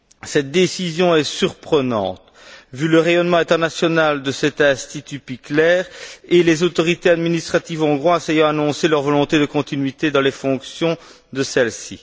Cette décision est surprenante, vu le rayonnement international de cet Institut Pikler et les autorités administratives hongroises ayant annoncé leur volonté de continuité dans les fonctions de celle ci.